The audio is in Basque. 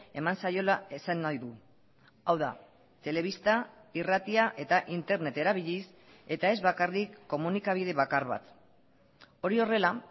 eman zaiola esan nahi du hau da telebista irratia eta internet erabiliz eta ez bakarrik komunikabide bakar bat hori horrela